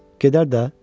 Gedər də.